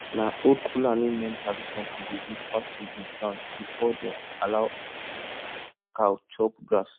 na old fulani men tradition to dey whisper to di ground before dem allow cow chop grass